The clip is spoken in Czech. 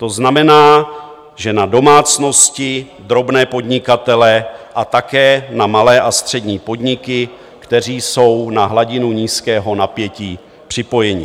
To znamená, že na domácnosti, drobné podnikatele a také na malé a střední podniky, kteří jsou na hladinu nízkého napětí připojeni.